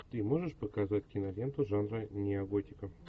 ты можешь показать киноленту жанра неоготика